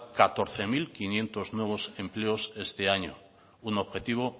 catorce mil quinientos nuevos empleos este año un objetivo